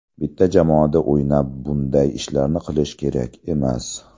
Bitta jamoada o‘ynab bunday ishlarni qilish kerak emas.